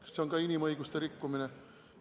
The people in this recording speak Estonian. Kas see on ka inimõiguste rikkumine?